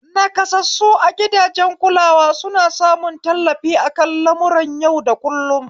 Naƙasassu a gidajen kulawa suna samun tallafi akan lamuran yau da kullun